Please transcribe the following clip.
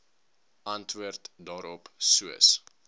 antwoord daarop soos